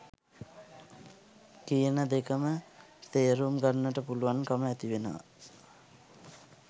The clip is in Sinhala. කියන දෙකම තේරුම් ගන්නට පුළුවන් කම ඇතිවෙනවා.